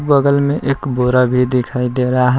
बगल में एक बोरा भी दिखाई दे रहा है।